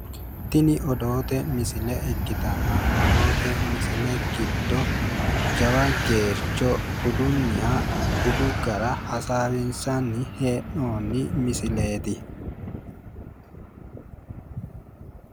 Tini odoote misile ikkirtanna odoote misile giddo jawa geercho budunniha budu gara hasaawinsanni hee'noonni misileeti.